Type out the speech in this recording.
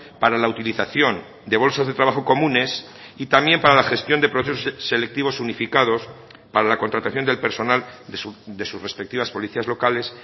para la utilización de bolsas de trabajo comunes y también para la gestión de procesos selectivos unificados para la contratación del personal de sus respectivas policías locales